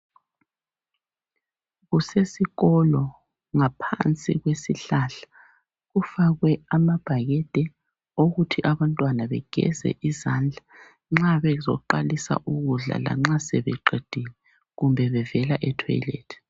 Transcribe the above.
Kusesikolo ngaphansi kwesihlahla, kufakwe amabhakede wokuthi abantwana begeze izandla nxabezoqalisa ukudla lanxa sebeqedile kumbe bevela ethwelethi.